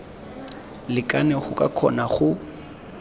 lekane go ka kgona go